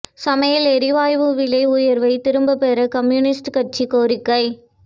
சமையல் எரிவாயு விலை உயா்வை திரும்பப் பெற கம்யூனிஸ்ட் கட்சி கோரிக்கை